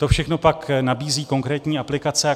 To všechno pak nabízí konkrétní aplikace.